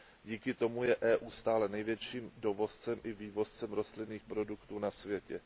Díky tomu je EU stále největším dovozcem i vývozcem rostlinných produktů na světě.